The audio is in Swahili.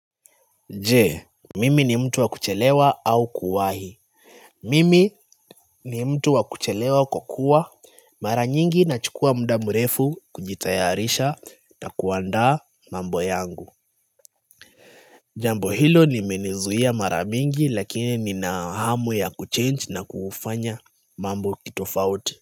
Jee, mimi ni mtu wa kuchelewa au kuwahi Mimi ni mtu wa kuchelewa kwa kuwa Mara nyingi nachukua muda mrefu kujitayarisha na kuandaa mambo yangu Jambo hilo nimenizuia mara mingi lakini nina hamu ya ku change na kufanya mambo kitofauti.